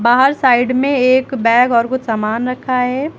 बाहर साइड में एक बैग और कुछ सामान रखा है।